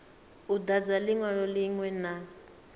u dadza linwalo linwe na